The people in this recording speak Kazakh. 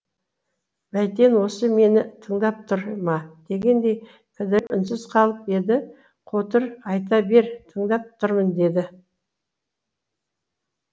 бәйтен осы мені тыңдап тұр ма дегендей кідіріп үнсіз қалып еді қотыр айта бер тыңдап тұрмын деді